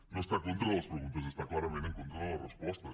no està en contra de les preguntes està clarament en contra de les respostes